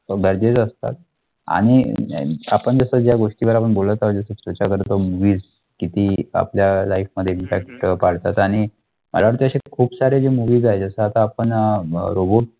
गरजेच्या असतात आणि अं आपण जसं या गोष्टीला बोलतं आहोत जसं त्याच्यावर तो movies आपल्या life मध्ये impact पडतात आणि मला असं वाटतं असे खूप सारे movies आहेत जसं आता आपण अं robot